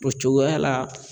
O cogoya la